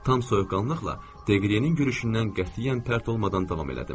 Tam soyuqqanlıqla Degriyenin görüşündən qətiyyən pərt olmadan davam elədim.